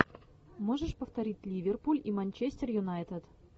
можешь повторить ливерпуль и манчестер юнайтед